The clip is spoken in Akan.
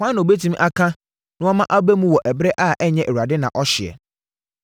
Hwan na ɔbɛtumi aka na wama aba mu wɔ ɛberɛ a ɛnyɛ Awurade na ɔhyɛeɛ?